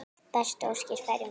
Bestu óskir færum við.